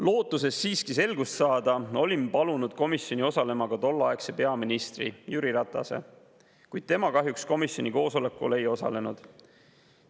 Lootuses siiski selgust saada olin palunud komisjoni osalema ka tolleaegse peaministri Jüri Ratase, kuid tema kahjuks komisjoni koosolekul ei osalenud.